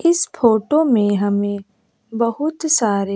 इस फोटो में हमे बहुत सारे --